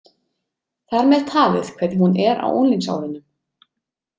Þar með talið hvernig hún er á unglingsárunum.